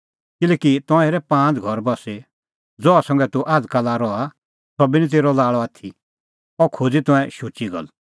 किल्हैकि तंऐं हेरै पांज़ घर बस्सी ज़हा संघै तूह आझ़काला रहा सह बी निं तेरअ लाल़अ आथी अह खोज़ी तंऐं शुची गल्ल